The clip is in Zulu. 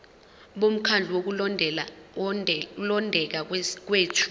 bomkhandlu wokulondeka kwethu